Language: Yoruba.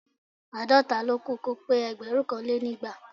Àádọ́ta ló kù kó pé ẹgbẹ̀rúnkanlénígba